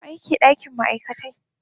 wa yake dakin ma'aikatai.